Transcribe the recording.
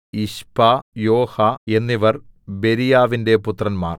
Ishpah Joha എന്നിവർ ബെരീയാവിന്റെ പുത്രന്മാർ